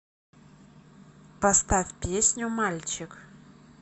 поставь песню мальчик